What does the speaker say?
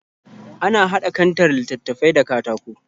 Ana haɗa kantar littattafai da katako